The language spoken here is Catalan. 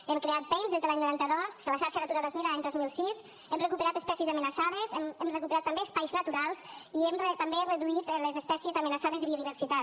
hem creat pein des de l’any noranta dos la xarxa natura dos mil l’any dos mil sis hem recuperat espècies amenaçades hem recuperat també espais naturals i hem també reduït les espècies amenaçades de biodiversitat